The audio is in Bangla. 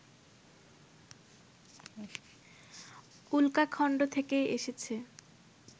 উল্কাখন্ড থেকেই এসেছে